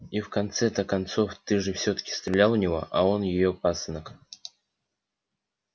и в конце-то концов ты же всё-таки стрелял у него а он её пасынок